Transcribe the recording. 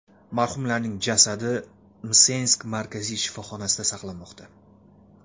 Marhumlarning jasadi Msensk markaziy shifoxonasida saqlanmoqda.